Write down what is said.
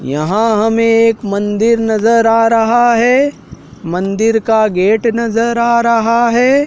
यहां हमें एक मंदिर नजर आ रहा है मंदिर का गेट नजर आ रहा है।